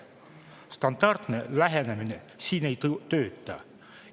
Standardne lähenemine siin ei tööta.